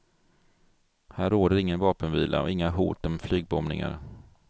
Här råder ingen vapenvila, och inga hot om flygbombningar.